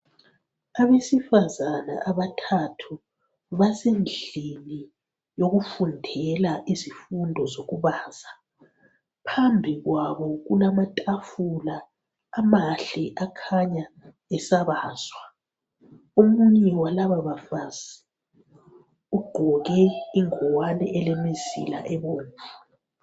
Abesifazana abathathu basendlini yokufundela izifundo zokubaza phambi kwabo kulamatafula amahle akhanya esabazwa omunye walaba bafazi ugqoke ingwane elemizila ebomvu.